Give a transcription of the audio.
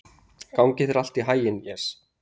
Gangi þér allt í haginn, Jes.